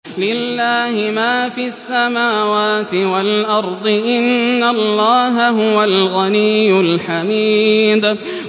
لِلَّهِ مَا فِي السَّمَاوَاتِ وَالْأَرْضِ ۚ إِنَّ اللَّهَ هُوَ الْغَنِيُّ الْحَمِيدُ